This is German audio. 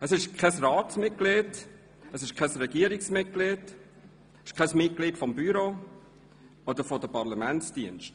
Es ist kein Ratsmitglied, kein Regierungsmitglied, kein Mitglied des Büros oder der Parlamentsdienste.